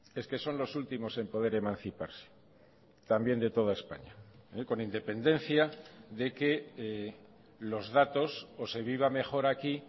es que son los últimos en poder emanciparse también de toda españa con independencia de que los datos o se viva mejor aquí